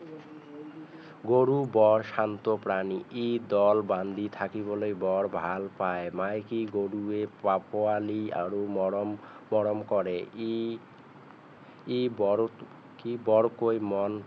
গৰু বৰ শান্ত প্ৰাণী ই দল বান্ধি থাকিবলৈ বৰ ভাল পায় মাইকী গৰুৱে পোৱালি আৰু মৰম মৰম কৰে ই ই বৰ ই বৰ কৈ মন